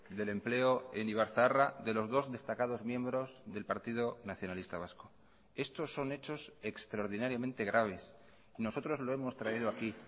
del empleo en ibarzaharra de los dos destacados miembros del partido nacionalista vasco estos son hechos extraordinariamente graves nosotros lo hemos traído aquí